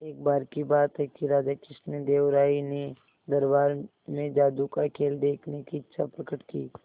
एक बार की बात है कि राजा कृष्णदेव राय ने दरबार में जादू का खेल देखने की इच्छा प्रकट की